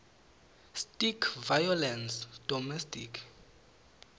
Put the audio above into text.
stic violence domestic